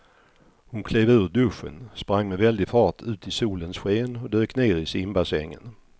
Hon klev ur duschen, sprang med väldig fart ut i solens sken och dök ner i simbassängen.